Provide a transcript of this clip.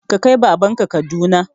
Ka kai baban ka Kaduna!